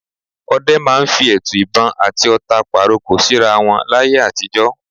Ọdẹ máa ń fi ẹtu ìbọn àti ọ̀ta pàrokò síra wọn láyé àtijọ́.